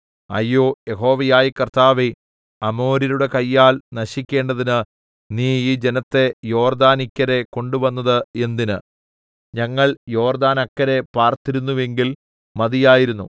അയ്യോ യഹോവയായ കർത്താവേ അമോര്യരുടെ കയ്യാൽ നശിക്കേണ്ടതിന് നീ ഈ ജനത്തെ യോർദ്ദാനിക്കരെ കൊണ്ടുവന്നത് എന്തിന് ഞങ്ങൾ യോർദ്ദാനക്കരെ പാർത്തിരുന്നെങ്കിൽ മതിയായിരുന്നു